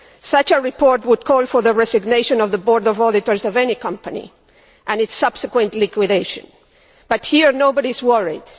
Such a report would call for the resignation of the board of auditors of any company and its subsequent liquidation, but here nobody is worried.